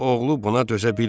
Oğlu buna dözə bilmədi.